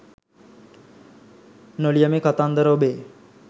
නො ලියමි කතන්දර ඔබේ